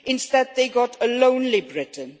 instead, they got a lonely Britain.